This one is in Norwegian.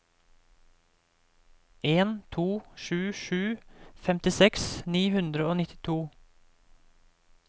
en to sju sju femtiseks ni hundre og nittito